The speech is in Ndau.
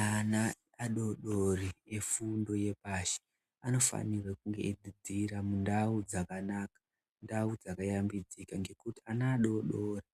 Ana adodori efundo yepashi anofanirwe kunge eidzidzira mundau dzakanaka ndau dzakayambidzika nekuti ana adodori